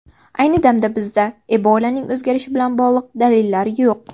Ayni damda bizda Ebolaning o‘zgarishi bilan bog‘liq dalillar yo‘q.